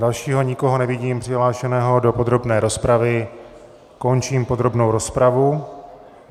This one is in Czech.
Dalšího nikoho nevidím přihlášeného do podrobné rozpravy, končím podrobnou rozpravu.